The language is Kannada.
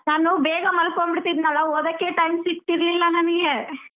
ನಾನು ಬೇಗ ಮಲ್ಕೊಂಡ್ ಬಿಡ್ತಿದ್ನಲ್ಲಾ ಓದಕ್ಕೆ time ಸಿಗ್ತಿರ್ಲಿಲ್ಲ ನನ್ಗೆ.